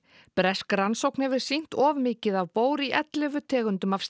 bresk rannsókn hefur sýnt of mikið af í ellefu tegundum af